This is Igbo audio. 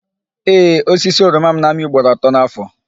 Ee, osisi oroma m na-amị ugboro atọ n'áfọ̀.